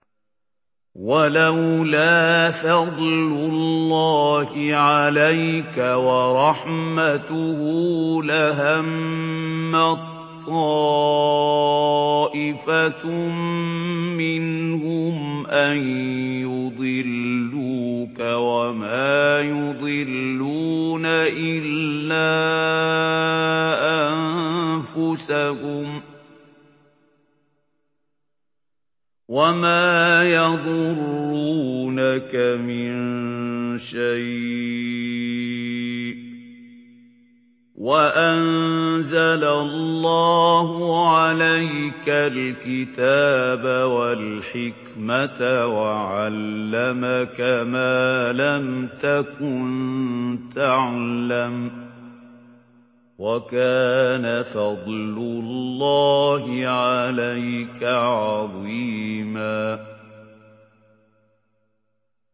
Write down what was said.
وَلَوْلَا فَضْلُ اللَّهِ عَلَيْكَ وَرَحْمَتُهُ لَهَمَّت طَّائِفَةٌ مِّنْهُمْ أَن يُضِلُّوكَ وَمَا يُضِلُّونَ إِلَّا أَنفُسَهُمْ ۖ وَمَا يَضُرُّونَكَ مِن شَيْءٍ ۚ وَأَنزَلَ اللَّهُ عَلَيْكَ الْكِتَابَ وَالْحِكْمَةَ وَعَلَّمَكَ مَا لَمْ تَكُن تَعْلَمُ ۚ وَكَانَ فَضْلُ اللَّهِ عَلَيْكَ عَظِيمًا